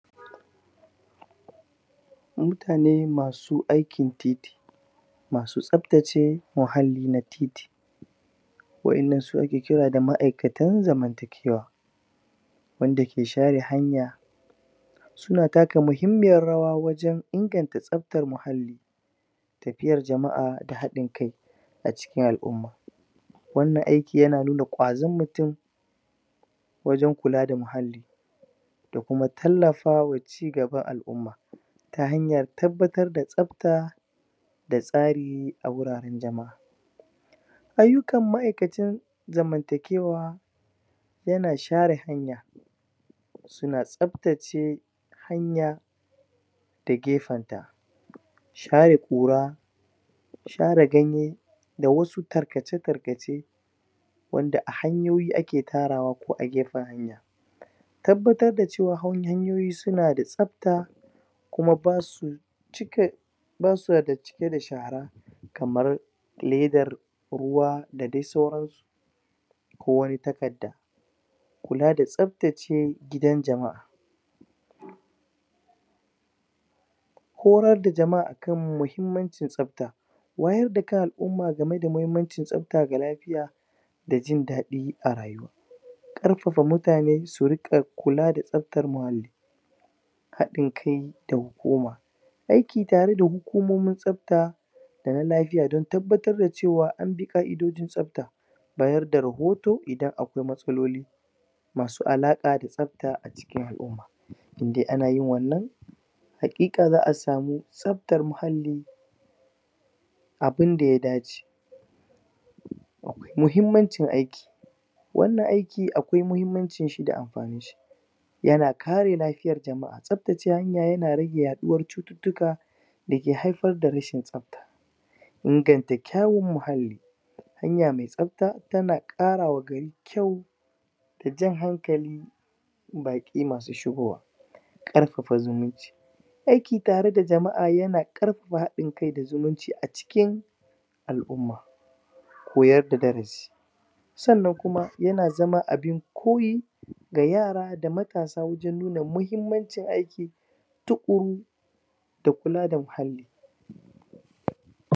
mutane masu aikin titi masu tsaftace muhalli na titi wa inan su ne ake kira da ma'aikatan zamantakewa wanda ke share hanya suna taka muhimmiyar rawa wajen inganta tsaftar muhalli tafiyar jama'a da hadin kai a cikin al'umma wannan aiki yana nuna kwazon mutum wajen kula da muhalli da kuma tallafawa cigaban al'umma ta hanyar tabbatar da tsafta da tsari a wuraren jama'a ayyukan ma'aikacin zaman takewa yana share hanya suna tsaftace hanya da gefenta share kura share ganye da wasu tarkace tarkace wanda a hanyoyi ake tarawa ko a gefen hanya tabbatar da cewa hanyoyi suna da tsafta kuma basu cike da shara kamar ledar ruwa da dai sauransu ko wani takarda kula da tsaftace gidan jama'a horas da jama'a akan muhimmancin tsafta wayar da kan al'umma gameda muhimmancin tsafta ga lafiya da jin dadi arayuwa karfafa mutane su riqa kula da tsaftar muhalli hadin kai da goma aiki tare da hukumomin tsafta da na lafiya don tabbatar cewa anbi ka'idojin tsafta bayar da rahoto idan akwai matsaloli masu alaqa da tsafta acikin al'umma indai anayin wannan haqiqa za'a samu tsaftar muhalli abunda ya dace muhimmancin aiki wannan aiki akwai muhimmanci da amfanin shi yana kare lafiyar jama'a tsaftace hanya yana rage yaduwar cututtuka da ke haifar da rashin tsafta inganta kyau muhalli hanya mai tsafta tana kara wa gari kyau da jan hankali baki masu shigowa karfafa zumunci aiki tare da jama'a yana karfafa hadin kai da zumunci acikin al'umma koyar da darasi sannan kuma yana zama abun koyi da yara da matasa wajen nuna muhimmancin aiki tukuru da kula da muhalli